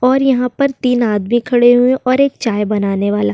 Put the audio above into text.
और यहां पर तीन आदमी खड़े हुए और एक चाय बनाने वाला --